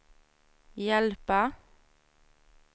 hjälpa